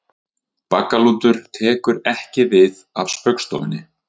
Baggalútur tekur ekki við af Spaugstofunni